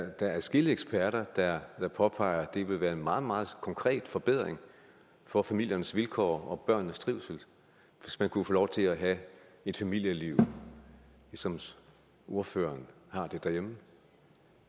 adskillige eksperter der påpeger vil være en meget meget konkret forbedring for familiernes vilkår og børnenes trivsel hvis man kunne få lov til at have et familieliv som ordføreren har det derhjemme